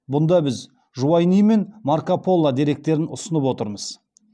бұнда біз жуайни мен марко поло деректерін ұсынып отырмыз